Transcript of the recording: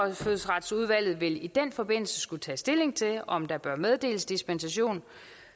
indfødsretsudvalget vil i den forbindelse skulle tage stilling til om der bør meddeles dispensation